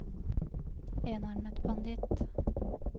enarmet banditt